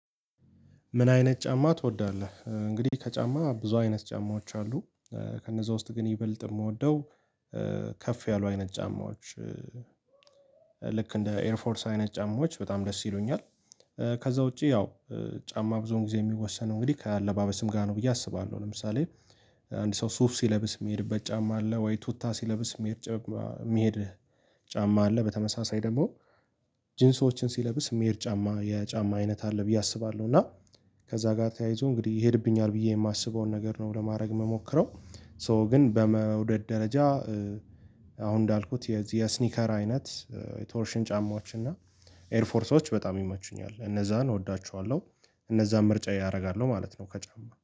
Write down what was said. ምን አይነት ጫማ ትወዳለህ? እንግዲህ ከጫማ ብዙ አይነት ጫማዎች አሉ ከነዛ ውስጥ ግን ይበልጥ የምወደው ከፍ ያሉ አይነት ጫማዎች ልክ እንደ ኤርፎርስ አይነት ጫማዎች በጣም ደስ ይሉኛል። ከዛ ውጪ ያው ጫማ ብዙን ጊዜ የሚወሰነው እንግዲህ ከአለባበስም ጋር ነው ብዬ አስባለሁ። ለምሳሌ አንድ ሰው ሱፍ ሲለብስ የሚሄድበት ጫማ አለ ወይ ቱታ ሲለብስ የሚሄድ የሚሄድ ጫማ አለ። በተመሳሳይ ደግሞ ጂንሶችን ሲለብስ የሚሄድ ጫማ የጫማ አይነት አለ ብዬ አስባለሁ። እና ከዛ ጋር ተያይዞ እንግዲህ ይሄድብኛል ብዬ የማስበውን ነገር ነው ለማድረግ የምሞክረው ሶ ግን በመውደድ ደረጃ። አሁን እንዳልኩት የዚህ የስኒከር አይነት የቶርሽን ጫማዎች እና ኤርፎርሶች በጣም ይመቹኛል እነዛን እወዳችኋለሁ እነዛን ምርጫ አደርጋለሁ ማለት ነው። ከጫማ